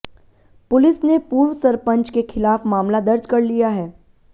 police ने पूर्व सरपंच के खिलाफ मामला दर्ज कर लिया है